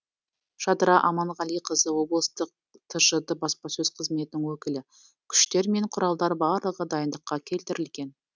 жадыра аманғалиқызы облыстық тжд баспасөз қызметінің өкілі күштер мен құралдар барлығы дайындыққа келтірілген